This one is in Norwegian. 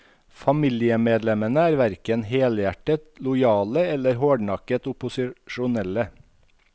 Familiemedlemmene er hverken helhjertet lojale eller hårdnakket opposisjonelle.